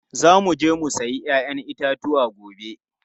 Za mu je mu sayi 'ya'yan itatuwa gobe.